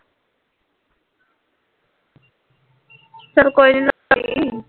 ਚੱਲ ਕੋਈ ਨਹੀਂ